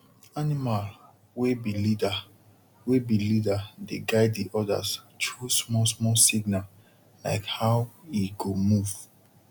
animal wey be leader wey be leader dey guide the odas through small small signal like how e go move